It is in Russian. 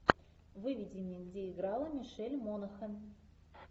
выведи мне где играла мишель монахэн